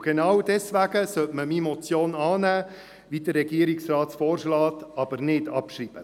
Genau deswegen sollte man meine Motion annehmen, so wie dies der Regierungsrat vorschlägt, aber ohne sie abzuschreiben.